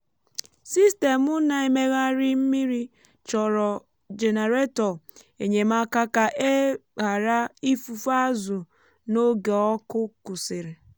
sistemụ na-emegharị mmiri chọrọ jenareto enyemaka ka e ghara ifufu azụ n’oge ọkụ kwụsịrị.